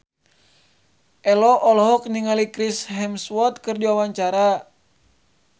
Ello olohok ningali Chris Hemsworth keur diwawancara